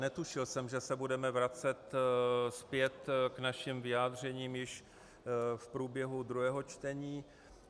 Netušil jsem, že se budeme vracet zpět k našim vyjádřením již v průběhu druhého čtení.